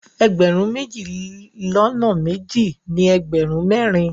Ẹgbẹ̀rún méjì lọ́nà méjì ní ẹgbẹ̀rún mẹ́rin.